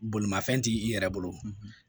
Bolimafɛn ti i yɛrɛ bolo